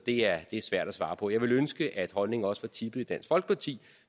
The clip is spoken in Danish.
er svært at svare på jeg ville ønske at holdningen også var tippet hos dansk folkeparti